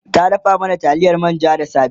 ta dafa mana taliyar manja da safe